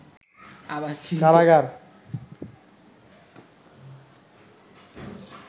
কারাগার